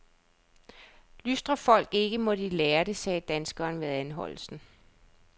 Lystrer folk ikke, må de lære det, sagde danskeren ved anholdelsen.